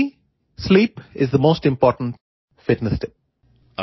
four me sleep is the most important fitness tip